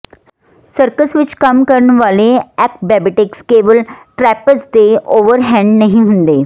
circus ਵਿਚ ਕੰਮ ਕਰਨ ਵਾਲੇ ਐਕਬੈਬੈਟਿਕਸ ਕੇਵਲ ਟ੍ਰੈਪੇਜ਼ ਤੇ ਓਵਰਹੈੱਡ ਨਹੀਂ ਹੁੰਦੇ